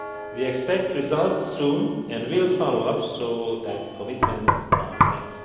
We expect results soon, and will follow up so that commitments are